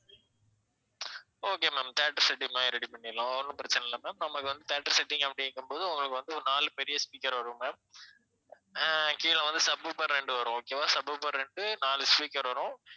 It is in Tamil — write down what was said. okay ma'am theater setting மாதிரி ready பண்ணிடலாம் ஒ~ ஒண்ணும் பிரச்சனை இல்லை ma'am நமக்கு வந்து theatre setting அப்படிங்கும் போது உங்களுக்கு வந்து ஒரு நாலு பெரிய speaker வரும் ma'am அஹ் கீழ வந்து sub woofer ரெண்டு வரும் okay வா sub woofer ரெண்டு நாலு speaker வரும்